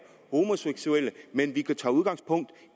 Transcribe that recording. homoseksuelle men tager udgangspunkt